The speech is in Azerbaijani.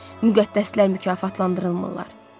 Müqəddəslər mükafatlandırılmırlar.